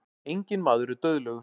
Enginn maður er dauðlegur.